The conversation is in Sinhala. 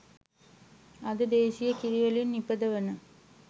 අද දේශීය කිරිවලින් නිපදවන